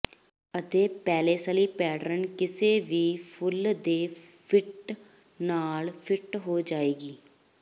ਅਤੇ paisley pattern ਕਿਸੇ ਵੀ ਫੁੱਲ ਦੇ ਫਿੱਟ ਨਾਲ ਫਿੱਟ ਹੋ ਜਾਵੇਗਾ